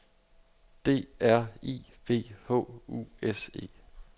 D R I V H U S E